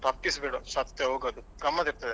ತಪ್ಪಿಸಬೇಡ ಸತ್ಯ ಹೋಗು ಅಲ್ಲಿ ಗಮ್ಮತ್ತ್ ಇರ್ತದೆ ಖುಷಿ ಆಗ್ತದೆ ಜನ.